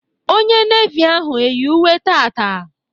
Onye Nevi ahụ eyi uwe taata?